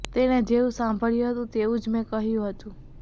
તેણે જેવું સાંભળ્યું હતું તેવું જ મેં કહ્યું હતું